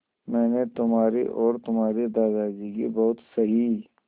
मैंने तुम्हारी और तुम्हारे दादाजी की बहुत सही